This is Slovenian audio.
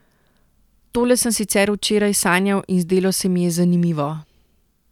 Tole sem sicer včeraj sanjal in zdelo se mi je zanimivo.